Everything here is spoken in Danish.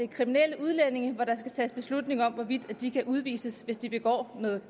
kriminelle udlændinge og at der skal tages beslutning om hvorvidt de kan udvises hvis de begår noget